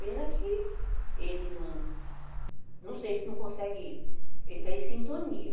Pena que ele não... Não sei, a gente não consegue entrar em sintonia.